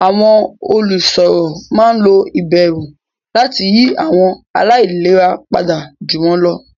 Àwọn olùsọ̀rọ̀ máa ń lo ìbẹ̀rù láti yí àwọn aláìlera padà ju wọn lọ.